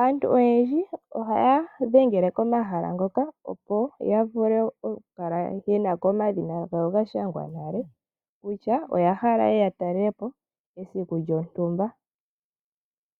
Aantu oyendji ohaya dhengele komahala hoka, opo yavule okukala yenako omadhina gawo gashangwa nale, kutya oyahala yeye yatalelepo, mesiku lyontumba.